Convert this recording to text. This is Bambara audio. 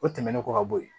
O tɛmɛnen kɔ ka bɔ yen